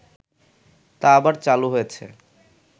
তা আবার চালু হয়েছে